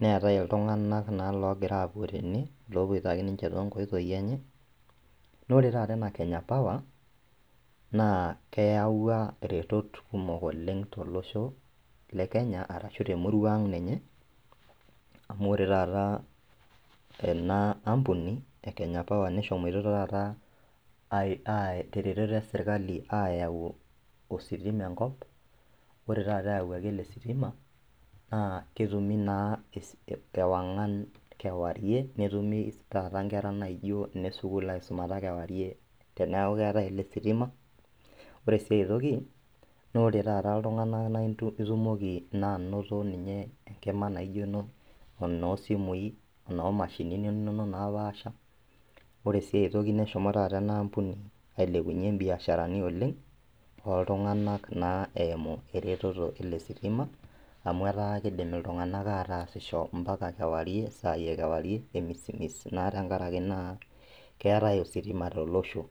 neetae iltung'anak naa logira apuo tene lopoito ake ninche tonkoitoi enye nore taata ena kenya power naa keyawua iretot kumok oleng' tolosho le kenya arashu temurua ang ninye amu ore taata ena ampuni e kenya power neshomoito taata ae teretoto esirkali ayau ositima enkop ore taata eyawuaki ele sitima naa ketumi naa esi ewang'an kewarie netumi taata inkera naijio ine sukuul aisumata kewarie teneeku keetae ele sitima ore sii aetoki nore taata iltung'anak naintu itumoki naa anoto ninye enkima naijio eno enoosimui enoomashinini inonok napaasha ore sii aetoki neshomo taata ena ampuni ailepunyie imbiasharani oleng oltung'anak naa eimu ereteto ele sitima amu etaa kidim iltung'anak atasisho mpaka kewarie isai ekewarie emisimis naa tenkarake naa keetae ositima tolosho.